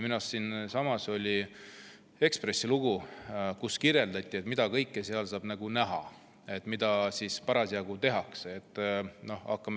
Minu arust oli Ekspressis lugu, kus kirjeldati, mida kõike näha saab, mida kõike seal parasjagu tehakse.